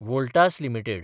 Voltas limited